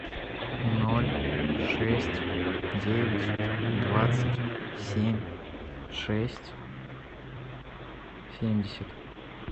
ноль шесть девять двадцать семь шесть семьдесят